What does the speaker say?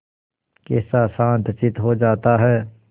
कैसा शांतचित्त हो जाता है